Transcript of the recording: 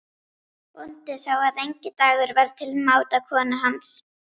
Bóndinn sá að enginn dagur var til máta konu hans.